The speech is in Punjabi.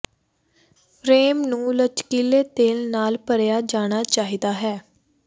ਫ੍ਰੇਮ ਨੂੰ ਲਚਕੀਲੇ ਤੇਲ ਨਾਲ ਭਰਿਆ ਜਾਣਾ ਚਾਹੀਦਾ ਹੈ